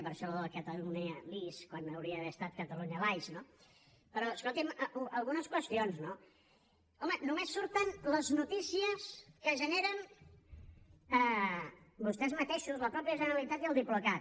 per això això de catalunyalis quan hauria d’haver estat catalunyalies no però escolti’m algunes qüestions no home només surten les notícies que generen vostès mateixos la mateixa generalitat i el diplocat